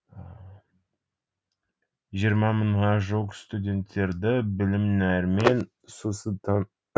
жиырма мыңға жуық студенттерді білім нәрімен сусында